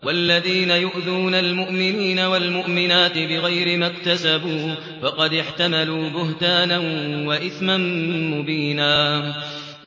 وَالَّذِينَ يُؤْذُونَ الْمُؤْمِنِينَ وَالْمُؤْمِنَاتِ بِغَيْرِ مَا اكْتَسَبُوا فَقَدِ احْتَمَلُوا بُهْتَانًا وَإِثْمًا مُّبِينًا